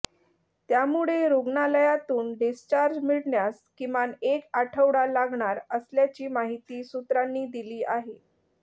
त्यामुळे रुग्णालयातून डिस्चार्ज मिळण्यास किमान एक आठवडा लागणार असल्याची माहिती सूत्रांनी दिली आहे